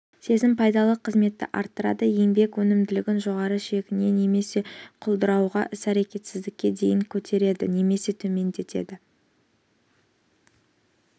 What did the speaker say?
сезім пайдалы қызметті арттырады еңбек өнімділігін жоғары шегіне немесе құлдырауға іс-әрекетсіздікке дейін көтереді немесе төмендетеді